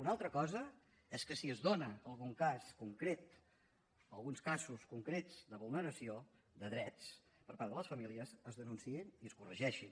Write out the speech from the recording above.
una altra cosa és que si es dona algun cas concret o alguns casos concrets de vulneració de drets per part de les famílies es denunciïn i es corregeixin